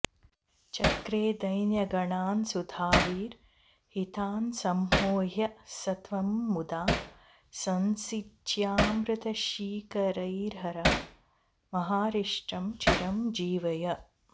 चक्रे दैन्यगणान्सुधाविरहितान्सम्मोह्य स त्वं मुदा संसिच्यामृतशीकरैर्हर महारिष्टं चिरं जीवय